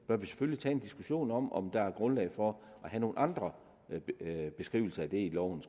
selvfølgelig tage en diskussion om om der er grundlag for at have nogle andre beskrivelser af det i loven